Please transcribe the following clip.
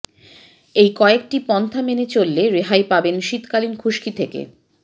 এই কয়েকটি পন্থা মেনে চললে রেহাই পাবেন শীতাকালীন খুশকি থেকে